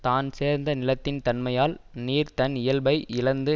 தான் சேர்ந்த நிலத்தின் தன்மையால் நீர் தன் இயல்பை இழந்து